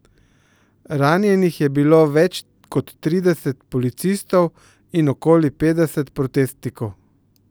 Ranjenih je bilo več kot trideset policistov in okoli petdeset protestnikov.